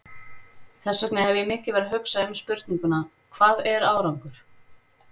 Þess vegna hef ég mikið verið að hugsa um spurninguna, hvað er árangur?